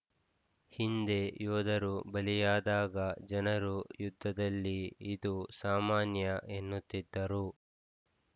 ಹಿಂದೆ ಯೋಧರು ಬಲಿಯಾದಾಗ ಜನರು ಯುದ್ಧದಲ್ಲಿ ಇದು ಸಾಮಾನ್ಯ ಎನ್ನುತ್ತಿದ್ದರು